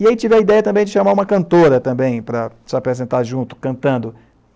E aí tive a ideia também de chamar uma cantora também para se apresentar junto, cantando.